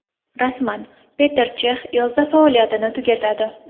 Rasman: Peter Chex yozda faoliyatini tugatadi.